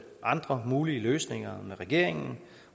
andre mulige løsninger med regeringen